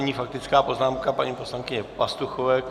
Nyní faktická poznámka paní poslankyně Pastuchové.